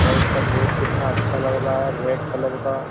और इसका गेट कितना अच्छा लग रहा है रेड कलर का।